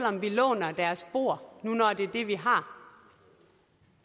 om vi låner deres bord når det er det vi har